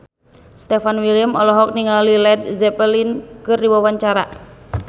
Stefan William olohok ningali Led Zeppelin keur diwawancara